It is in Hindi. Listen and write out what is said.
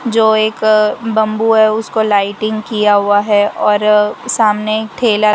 जो एक बंबू है। उसको लाइटिंग किया हुआ है और सामने ठेला --